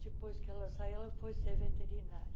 Depois que ela saiu, ela foi ser veterinária.